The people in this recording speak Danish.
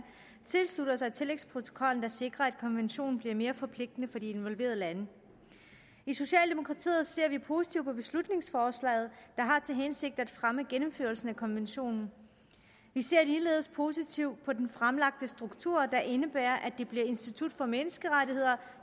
tilslutter sig tillægsprotokollen der sikrer at konventionen bliver mere forpligtende for de involverede lande i socialdemokratiet ser vi positivt på beslutningsforslaget hensigten at fremme gennemførelsen af konventionen vi ser ligeledes positivt på den fremlagte struktur der indebærer at det bliver institut for menneskerettigheder